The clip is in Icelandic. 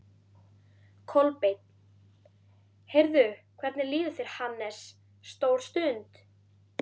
Kolbeinn: Heyrðu, hvernig líður þér, Hannes, stór stund?